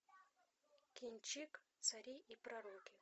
кинчик цари и пророки